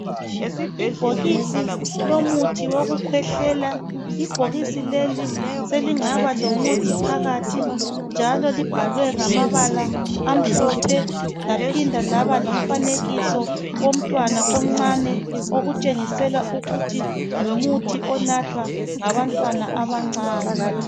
Ibhokisi lomuthi wokukhwehlela ibhokisi leli selingaba lomuthi phakathi njalo libhalwe ngamabala amhlophe laphinda laba lomfanekiso womntwana omncane okutshengisela ukuthi ngumuthi onathwa ngabantwana abancane.